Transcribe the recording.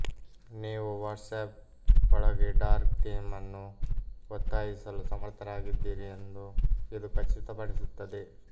ನೀವು ವಾಟ್ಸಾಪ್ ಒಳಗೆ dark theme ಅನ್ನು ಒತ್ತಾಯಿಸಲು ಸಮರ್ಥರಾಗಿದ್ದೀರಿ ಎಂದು ಇದು ಖಚಿತಪಡಿಸುತ್ತದೆ